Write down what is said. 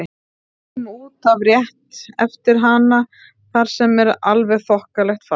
Við förum út af rétt eftir hana þar sem er alveg þokkalegt fall.